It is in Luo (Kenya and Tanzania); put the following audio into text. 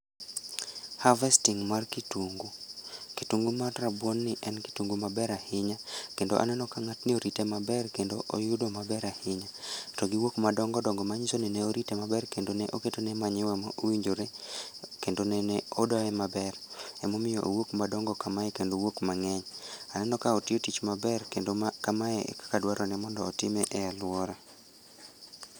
Harvesting mar kitungu. Kitungu mar rabuon ni en kitungu maber ahinya, kendo aneno ka ng'atni orite maber kendo oyudo maber ahinya. To giwuok madongodongo manyiso ni ne orite maber kendo ne oketone manyiwa ma owinjore, kendo nene odoye maber. Emomiyo owuok madongo kamae kendo owuok mang'eny. Aneno ka otiyo tich maber kendo ma kamae ekaka dwarore mondo otime e alwora